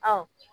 Ɔ